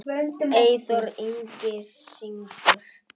Eyþór Ingi syngur.